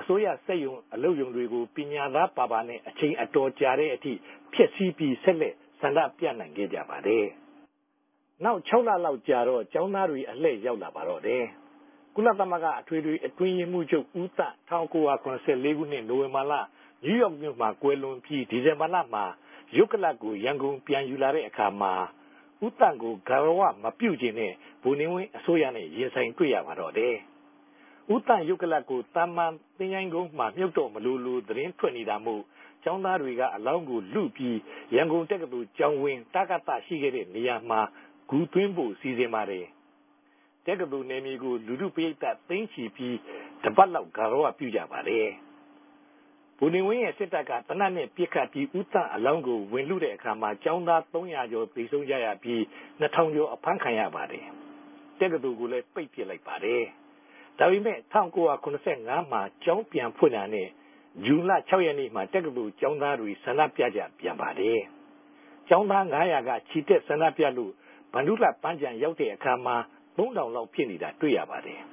အစိုးရစက်႟ုံ၊ အလုပ်႟ုံတေကြို ပညာသားပၝပၝနဲႛ အခဵိန်အတော်ုကာတဲ့ အထိဖဵက်ဆီး္ဘပီး ဆက်လက်ဆ္ဋိံူပိံိုင်ခဲ့ုကပၝတယ်။ နောက် ၆ လလောက်ုကာတော့ ကေဵာင်းသားတြေ အလြည့်ရောက်လာပၝတယ်။ ကုလသမဂ္ဂ အတြင်းရေးမြြးခဵြပ် ဦးသန်ႛ ၁၉၇၄ ခိုံြစ် ိံိုဝင်ဘာလက နယူးယောက်္ဘမိြႚမြာ ကြယ်လြန်္ဘပီး ဒီဇင်ဘာလမြာ ႟ုပ်ကလာပ်ကို ရန်ကုန်ူပန်ယူလာထဲ့အခၝ ဦးသန်ႛကို ဂၝရဝမူပခြဵင်တဲ့ ဗိုလ်နေဝင်းအစိုးရနဲႛ ရင်ဆိုင်တြေႚရပၝတော့တယ်။ ဦးသန်ႛ႟ုပ်ကလာပ်ကို သာမန်သခဵြှင်းကုန်းမြာ ူမၟြပ်တော့မလိုလို သတင်းထြက်နေတာမိုႛ ကေဵာင်းသားတေကြ အလောင်းကိုလု္ဘပီး ရန်ကုန် တက္ကသိုလ်ကေဵာင်းဝင်း တကသရြိခဲ့တဲ့နေရာမြာ ဂူသြင်းဖိုႛ စီစဉ်ပၝတယ်။ တက္ကသိုလ်နယ်ေူမကို လူထုပရိသတ် သိန်းခဵ္ဘီပီး တပတ်လောက် ဂၝရဝူပြုကပၝတယ်။ ဗိုလ်နေဝင်းရဲ့စစ်တပ်က သေနတ်နဲႛပစ်ခတ်္ဘပီး ဦးသန်ႛအလောင်းကို ဝင်လုတဲ့အခၝ ကေဵာင်းသားသုံးလေးရာ သေဆုံးုကရ္ဘပီး ိံြစ်ထောင်ကေဵာ် အဖမ်းခံရပၝတယ်။ တက္ကသိုလ်ကိုလည်း ပိတ်ပစ်ပၝတယ်။ ဒၝပေမဲ့ ၁၉၇၅ မြာ ကေဵာင်းူပန်ဖြင့်တာနဲႛ ဇြန်လ ၆ ရက်နေႛမြာ တက္ကသိုလ်ကေဵာင်းသားတြေ ဆ္ဋိံူပုကူပန်ပၝတယ်။ ကေဵာင်းသားငၝးရာက ခဵီတက်ဆ္ဋိံူပလိုႛ မဟာဗ္ဌိံလြပန်း္ဘခံ ရောက်တဲ့အခၝမြာ သုံးထောင်လောက် ူဖစ်နေတာ တြေႚရပၝတယ်။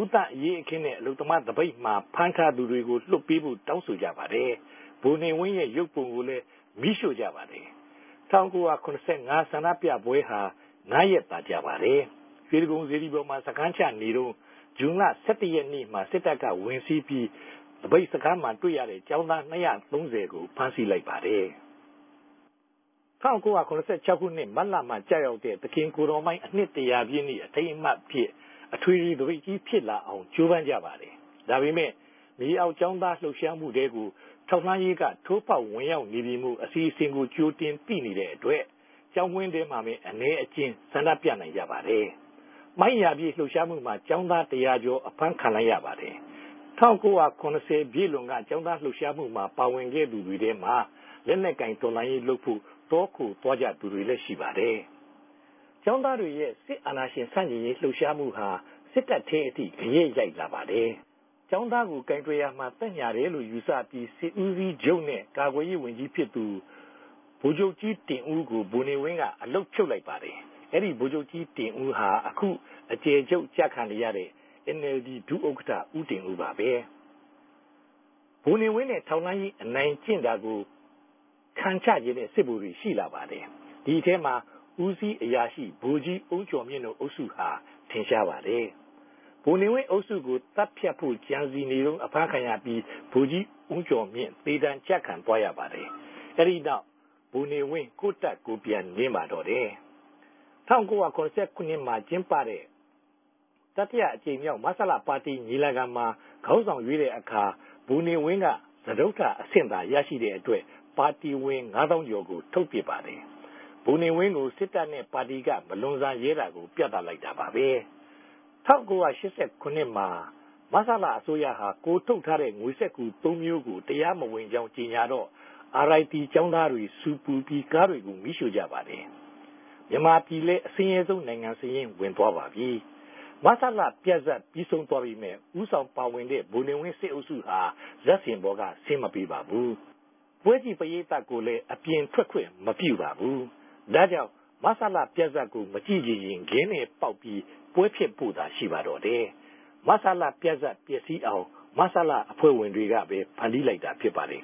ဦးသန်ႛအရေးအခင်းနဲႛ အလုပ်သမား သပိတ်မြာဖမ်းထားသူတေကြို လြတ်ပေးဘိုႛ တောင်းဆိုုကပၝတယ်။ ဗိုလ်နေဝင်း ႟ုပ်ပုံကိုလည်း မီး႟ြိႛုကပၝတယ်။ ၁၉၇၅ ဆ္ဋိံူပပဲဟြာ ငၝးရက်သာုကာပၝတယ်။ ေ႟တြိဂုံစေတီပေၞမြာ စခန်းခဵနေတုန်း ဇြန်လ ၁၁ရက်နေႛမြာ စစ်တပ်က ဝင်စီး္ဘပီး သပိတ်စခန်းမြာ တြေႚရတဲ့ ကေဵာင်းသား ၂၃၀ကို ဖမ်းဆီးလိုက်ပၝတယ်။ ၁၉၇၆ခိုံြစ် မတ်လမြာ ကဵရောက်တဲ့ သခင်ကိုယ်တော်မ¬ြိင်း အိံြစ်တရာူပည့်မြေးနေႛ အထိမ်းအမြတ်အူဖစ် အထြေထေသြပိတ်ဋ္ဌကီး ူဖစ်လာအောင် ဋ္ဌကိြးပမ်းုကပၝတယ်။ ဒၝပေမဲ့ ေူမအောက်ကေဵာင်းသား လြပ်ရြားမထြဲကို ထောက်လြမ်းရေးက ထိုးဖောက်ဝင်ရောက်န္ဘေပီမိုႛ အစီအစဉ်ကို ဋ္ဌကိတြင်သိနေတဲ့အတြက် ကေဵာင်းဝင်းထဲမြာပဲ အနည်းအကဵဉ်း ဆ္ဋိံူပိံိုင်ုကပၝတယ်။ မြိင်းရာူပည့်လြပ်ရြားမမြြာ ကေဵာင်းသားတရာကေဵာ် အဖမ်းခံလိုက်ရပၝတယ်။ ၁၉၇၀ ူပည့်လြန်က ကေဵာင်းသားလြပ်ရြားမမြြာ ပၝဝင်ခဲ့သူတေထြဲမြာ လက်နက်ကိုင် တော်လြန်ရေးလုပ်ဖိုႛ တောခိုသြားုကသူတေလြည်းရြိပၝတယ်။ ကေဵာင်းသားတေရြဲ့ စစ်အာဏာရြင် ဆန်ႛကဵင်ရေးလြပ်ရြားမဟြာ စစ်တပ်ထဲအထိ ဂယက်႟ိုက်လာပၝတယ်။ ကေဵာင်းသားကို ကိုင်တြယ်ရာမြာ သက်ညၟာတယ်လိုႛ ယူဆ္ဘပီး စစ်ဦးစီးခဵြပ်နဲႛ ကာကြယ်ရေးဝန်ဋ္ဌကီးူဖစ်သူ ဗိုလ်ခဵြပ်ဋ္ဌကီးတင်ဦးကို ဗိုလ်နေဝင်းက အလုပ်ူဖြတ်လိုက်ပၝတယ်။ အဲဒီဗိုလ်ခဵြပ်ဋ္ဌကီးတင်ဦးဟာ အခု အကဵယ်ခဵြပ်ကဵနေတဲ့ NLD ဒုတိယ ဥက္ကဌ ဦးတင်ဦးပၝပဲ။ ဗိုလ်နေဝင်းနဲႛ ထောက်လြမ်းရေး အိံိုင်ကဵင့်တာကို ခံခဵခဵင်တဲ့ စစ်ဗိုလ်တြေ ရြိလာပၝတယ်။ ဒီအထဲမြာ ဦးစီးအရာရြိ ဗိုလ်ဋ္ဌကီး အုန်းကေဵာ်ူမင့်တိုႛ အုပ်စုဟာ ထင်ရြားပၝတယ်။ ဗိုလ်နေဝင်းအုပ်စုကို သတ်ူဖတ်ဖိုႛဋ္ဌကံစည်နေတုန်း အဖမ်းခံရ္ဘပီး ဗိုလ်ဋ္ဌကီး အုန်းကေဵာ်ူမင့် သေဒဏ်ကဵခံသြားရပၝတယ်။ အဲဒီနောက် ဗိုလ်နေဝင်း ကိုယ့်တပ်ကိုယ် ူပန်နင်းပၝတော့တယ်။ ၁၉၇၇ မြာကဵင်းပတဲ့ တတိယအဋ္ဌကိမ်ေူမာက် မဆလပၝတီညီလာခံမြာ ခေၝင်းဆောင်ေ႟ြးတဲ့အခၝ ဗိုလ်နေဝင်းက စတုတဉ�အဆင့်သာ ရရြိတဲ့အတြက် ပၝတီဝင်ငၝးသောင်းကေဵာ် ထုတ်ပစ်ပၝတယ်။ ဗိုလ်နေဝင်းကို စစ်တပ်နဲႛပၝတီက မလြန်ဆန်ရဲတာကို ူပသတာပၝပဲ။ ၁၉၈၇မြာ မဆလအစိုးရဟာ ကိုယ်ထုတ်ထားတဲ့ ငေစြက္ကသြုံးမဵြိးကို တရားမဝင်ေုကာင်း ေုကညာတော့ RIT ကေဵာင်းသားတြေ ဆူပူ္ဘပီး ကားတေကြို မီး႟ြိႛုကပၝတယ်။ ူမန်မာူပည်လည်း အဆင်းရဲဆုံးိံိုင်ငံ စာရင်းဝင် ူဖစ်သြားပၝ္ဘပီ။ မဆလူပဇာတ် ္ဘပီးဆုံးသြားပေမယ့် ဦးဆောင်ပၝဝင်တဲ့ ဗိုလ်နေဝင်း စစ်အုပ်စုဟာ ဇာတ်စင်ပေၞက ဆင်းမပေးပၝဘူး။ ပဲြုကည့်ပရိသတ်ကိုလည်း အူပင်ထြက်ခြင့်မူပပြၝဘူး။ ဒၝေုကာင့် မဆလူပဇာတ်ကို မုကည့်ခဵင်ရင် ခဲနဲႛပေၝက်္ဘပီး ပြဲဖဵက်ဖိုႛသာ ရြိပၝတော့တယ်။ မဆလူပဇာတ် ပဵက်စီးအောင် �မဆလ� အဖြဲႚဝင်တေကြပဲ ဖန်တီးလိုက်တာ ူဖစ်ပၝတယ်